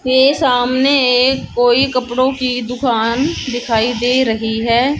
मेरे सामने कोई कपड़ों की दुकान दिखाई दे रही है।